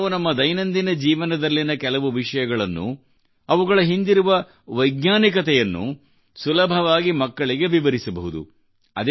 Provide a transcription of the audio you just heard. ನಾವು ನಮ್ಮ ದೈನದಿಂನ ಜೀವನದಲ್ಲಿನ ಕೆಲವು ವಿಷಯಗಳನ್ನು ಅವುಗಳ ಹಿಂದಿರುವ ವೈಜ್ಞಾನಿಕತೆಯನ್ನು ಸುಲಭವಾಗಿ ಮಕ್ಕಳಿಗೆ ವಿವರಿಸಬಹುದು